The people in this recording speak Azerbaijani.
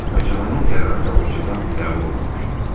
Məhkəmənin qərarı qabaqcadan qəbul olunmuşdu.